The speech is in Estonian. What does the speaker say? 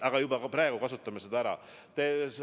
Aga juba praegu võiksime seda ära kasutada.